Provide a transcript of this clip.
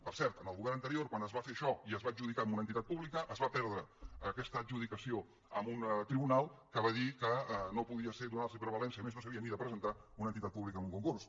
per cert en el govern anterior quan es va fer això i es va adjudicar a una entitat pública es va perdre aquesta adjudicació en un tribunal que va dir que no podia ser donar los prevalença i a més no s’havia ni de presentar una entitat pública en un concurs